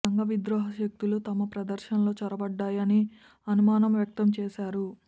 సంఘ విద్రోహ శక్తులు తమ ప్రదర్శనలో చొరబడ్డాయని అనుమానం వ్యక్తం చేశారు